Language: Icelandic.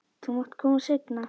Þú mátt koma seinna.